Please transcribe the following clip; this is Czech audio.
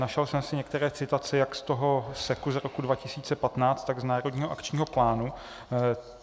Našel jsem si některé citace jak z toho SEKu z roku 2015, tak z Národního akčního plánu.